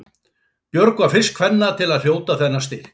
Björg var fyrst kvenna til að hljóta þennan styrk.